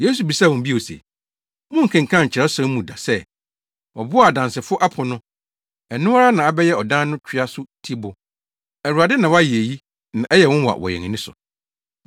Yesu bisaa wɔn bio se, “Monkenkan Kyerɛwsɛm no mu da sɛ, “ ‘Ɔbo a adansifo apo no ɛno ara na abɛyɛ ɔdan no twea so tibo. Awurade na wayɛ eyi, na ɛyɛ nwonwa wɔ yɛn ani so?’